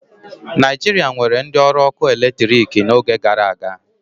Naijiria nwere ndị ọrụ ọkụ eletrik n'oge gara aga